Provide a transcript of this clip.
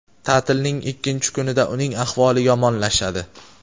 Ta’tilning ikkinchi kunida uning ahvoli yomonlashadi.